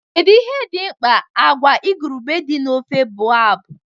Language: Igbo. Kedu ihe dị mkpa agwa igurube dị na ofe boab?